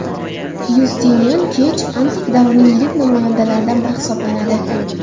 Yustinian kech antik davrning yirik namoyandalaridan biri hisobalanadi.